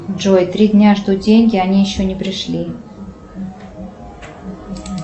джой три дня жду деньги они еще не пришли